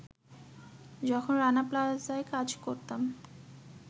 “যখন রানা প্লাজায় কাজ করতাম